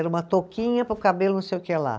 Era uma toquinha para o cabelo não sei o que lá.